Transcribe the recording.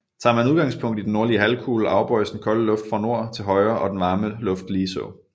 Tager man udgangspunkt i den nordlige halvkugle afbøjes den kolde luft fra nord til højre og den varme luft ligeså